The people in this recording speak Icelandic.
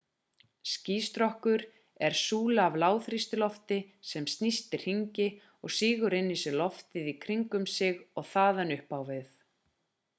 skýstrokkur er súla af lágþrýstilofti sem snýst í hringi og sýgur inn í sig loftið í kringum sig og þaðan upp á við